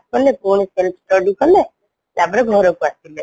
କଲେ ପୁଣି self study କଲେ ତାପରେ ଘରକୁ ଆସିଲେ